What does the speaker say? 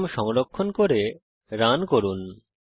programme সংরক্ষণ করে run করুন